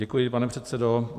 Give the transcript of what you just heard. Děkuji, pane předsedo.